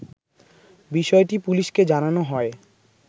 বিষয়টি পুলিশকে জানানো হয়